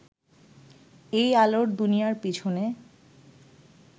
এই আলোর দুনিয়ার পিছনে